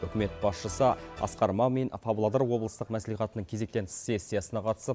үкімет басшысы асқар мамин павлодар облыстық мәслихатының кезектен тыс сессиясына қатысып